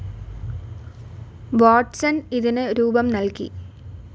Watson ഇതിനു രൂപം നൽകി.